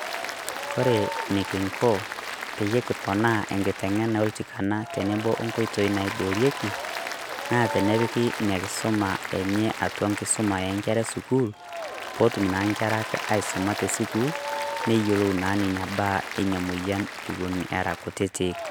Kore nekinko peyie kiponaa enkiteng'ena oltikana teneboo onkoitoi naaiboorieki, naa tenepiki nia nkisoma enye atua nkosoma e nkerra e sukuul pootum naa nkerrak aisoma te sukuul neiyeloo naa nenia baaya enia moyian ewuen era nkutitik.